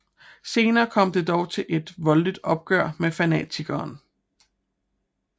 Senere kommer det dog til et voldeligt opgør med fanatikeren